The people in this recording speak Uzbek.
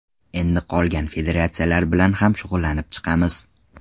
Endi qolgan federatsiyalar bilan ham shug‘ullanib chiqamiz.